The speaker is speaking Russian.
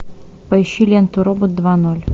поищи ленту робот два ноль